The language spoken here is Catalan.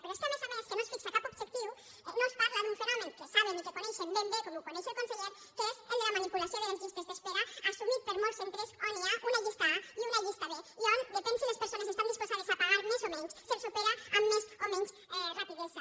però és que a més a més no es fixa cap objectiu no es parla d’un fenomen que saben i que coneixen ben bé com ho coneix el conseller que és el de la manipulació de les llistes d’espera assumit per molts centres on hi ha una llista a i una llista b i on depenent de si les persones estan disposades a pagar més o menys se’ls opera amb més o menys rapidesa